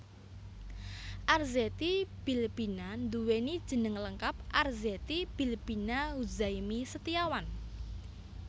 Arzetti Bilbina nduwèni jeneng lengkap Arzetti Bilbina Huzaimi Setiawan